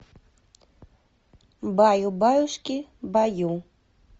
баю баюшки баю